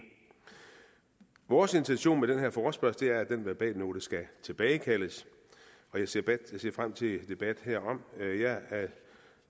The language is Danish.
vores intention med den her forespørgsel er at den verbalnote skal tilbagekaldes og jeg ser frem til en debat herom jeg